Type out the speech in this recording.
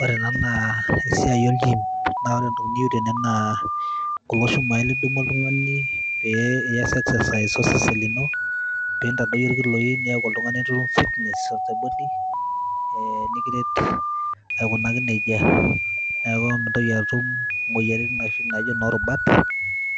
ore ena naa esiai ol gym naa ore entoki niyieu tene naa kulo shumai lidumu oltung'ani pee iyas exercise osesen lino piintadoyio irkiloi niaku oltung'ani nitum fitness of the body eh, nikiret aikunaki nejia neeku mintoki atum imoyiaritin inoshi naijio inorubat